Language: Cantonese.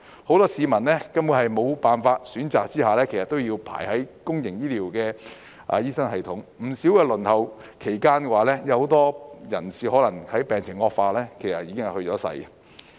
很多市民根本沒辦法和在沒有選擇下，只能在公營醫療系統輪候，輪候期間更有不少人病情惡化去世。